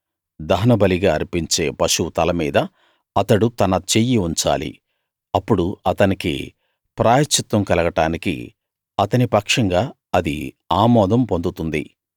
దహనబలిగా అర్పించే పశువు తల మీద అతడు తన చెయ్యి ఉంచాలి అప్పుడు అతనికి ప్రాయశ్చిత్తం కలగడానికి అతని పక్షంగా అది ఆమోదం పొందుతుంది